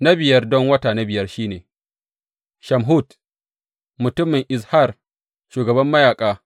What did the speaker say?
Na biyar don wata na biyar, shi ne Shamhut mutumin Izhar shugaban mayaƙa.